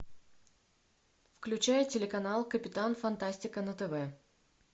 включай телеканал капитан фантастика на тв